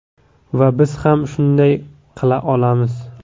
Va biz ham shunday qila olamiz.